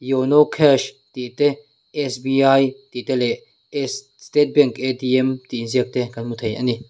yono cash tih te s b i tih te leh s state bank a t m tih inziak te kan hmu thei ani.